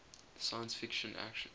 science fiction action